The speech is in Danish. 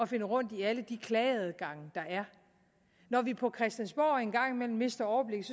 finde rundt i alle de klageadgange der er når vi på christiansborg en gang imellem mister overblikket